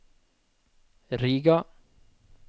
Riga